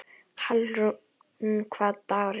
Hallrún, hvaða dagur er í dag?